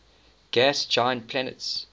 gas giant planets